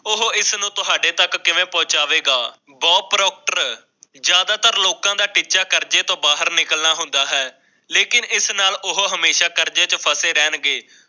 ਓਹੋ ਇਸ ਨੂੰ ਤੁਹਾਡੇ ਤੱਕ ਕਿਵੇਂ ਪਹੁੰਚਾਵੇਗਾ ਜ਼ਿਆਦਾਤਰ ਲੋਕਾਂ ਦਾ ਟੀਚਾ ਕਰਜੇ ਤੋਂ ਬਾਹਰ ਨਿਕਲ ਹੁੰਦਾ ਹੈ ਲੇਕਿਨ ਇਸ ਨਾਲ ਉਹ ਹਮੇਸ਼ਾ ਕਰਜ਼ੇ ਚ ਫ਼ਸੇ ਰਹਿਣਗੇ